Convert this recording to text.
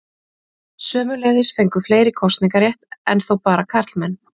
Sömuleiðis fengu fleiri kosningarétt, enn þó bara karlmenn.